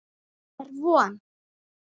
Er von?